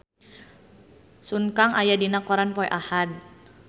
Sun Kang aya dina koran poe Ahad